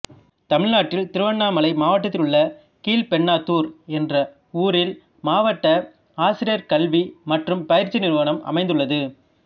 தமிழ்நாட்டில் திருவண்ணாமலை மாவட்டத்தில் உள்ள கீழ்பென்னாத்தூர் என்ற ஊரில் மாவட்ட ஆசிரியர் கல்வி மற்றும் பயிற்சி நிறுவனம் அமைந்துள்ளது